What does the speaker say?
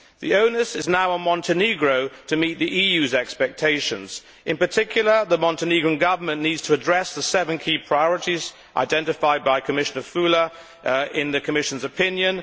The onus is now on Montenegro to meet the EU's expectations. In particular, the Montenegrin Government needs to address the seven key priorities identified by Commissioner Füle in the Commission's opinion.